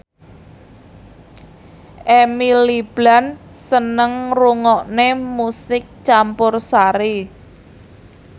Emily Blunt seneng ngrungokne musik campursari